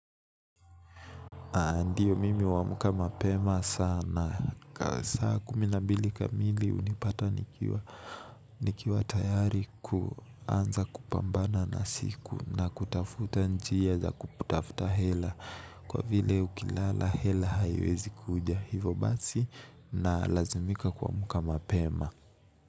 Ndiyo mimi huamka mapema sana, ka saa kumi na mbili kamili hunipata nikiwa nikiwa tayari kuanza kupambana na siku na kutafuta njia za kutafuta hela kwa vile ukilala hela haiwezi kuja hivo basi na lazimika kuamuka mapema.